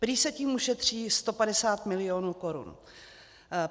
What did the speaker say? Prý se tím ušetří 150 milionů korun.